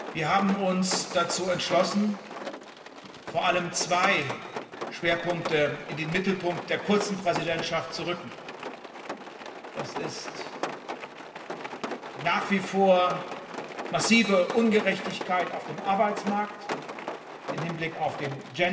Wir haben uns dazu entschlossen, vor allem zwei Schwerpunkte in den Mittelpunkt der kurzen Präsidentschaft zu rücken. Das ist die nach wie vor massive Ungerechtigkeit auf dem Arbeitsmarkt im Hinblick auf den